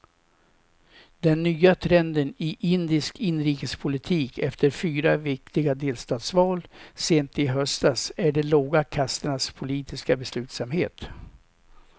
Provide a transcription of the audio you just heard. Den nya trenden i indisk inrikespolitik efter fyra viktiga delstatsval sent i höstas är de låga kasternas politiska beslutsamhet.